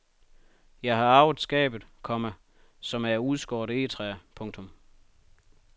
Jeg har arvet skabet, komma som er af udskåret egetræ. punktum